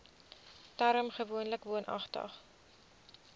term gewoonlik woonagtig